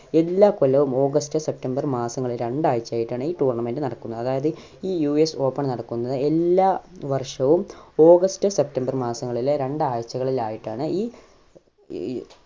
എല്ലാ കൊല്ലവും August September മാസങ്ങളിലെ രണ്ടാഴ്ച ആയിട്ടാണ് ഈ tournament നടക്കുന്നത് അതായത് ഈ US Open നടക്കുന്നത് എല്ലാ വർഷവും ഓഗസ്റ്റ് സെപ്റ്റംബർ മാസങ്ങളിലെ രണ്ടാഴ്ചകളിൽ ആയിട്ടാണ് ഈ ഏർ